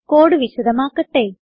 code വിശദമാക്കട്ടെ